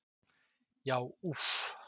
Já, úff.